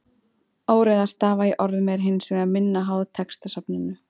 Óreiða stafa í orðum er hins vegar minna háð textasafninu.